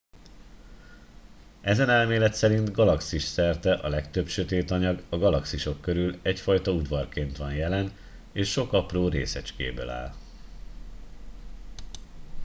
ezen elmélet szerint galaxis szerte a legtöbb sötét anyag a galaxisok körüli egyfajta udvarként van jelen és sok apró részecskéből áll